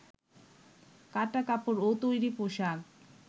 কাটা কাপড় ও তৈরি পোশাক